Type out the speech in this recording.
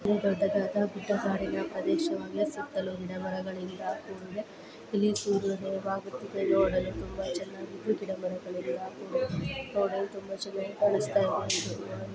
ಇದು ದೊಡ್ಡದಾದ ದಿಟ್ಟ ಕಾಡಿನ ಪ್ರದೇಶವಾಗಿದೆ ಸುತ್ತಲೂ ಗಿಡ - ಮರಗಳಿಂದ ಕೂಡಿದೆ. ಇಲ್ಲಿ ಸೂರ್ಯೋದಯವಾಗುತ್ತಿದೆ ಒಡನೆ ತುಂಬಾ ಚೆನ್ನಾಗಿ ಹೂ- ಗಿಡ - ಮರಗಳೆಲ್ಲ ನೋಡಲು ತುಂಬಾ ಚೆನ್ನಾಗಿ ಕಾಣಸ್ತಇದೆ.